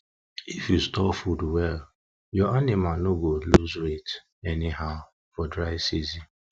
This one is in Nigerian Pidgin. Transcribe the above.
if you store food well your anima no go lose weight anyhow for for dry season